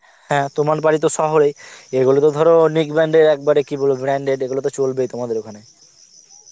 হ্যাঁ তোমার বাড়ি তো শহরে এগুলো তো ধর এর একবারে branded এগুলো তো চলবেই তোমাদের ওখানে